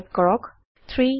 type কৰক 3